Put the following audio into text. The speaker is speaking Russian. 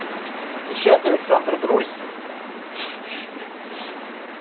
отвечает александр друзь ха